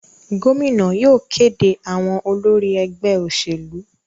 Gómìnà yóò kéde àwọn olórí ẹgbẹ́ òṣèlú.